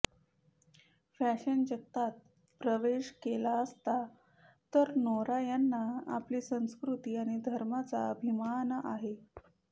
fashion जगतात प्रवेश केला असला तर नौरा यांना आपली संस्कृती आणि धर्माचा अभिमान आहे